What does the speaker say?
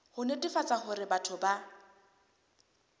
ho netefatsa hore batho ba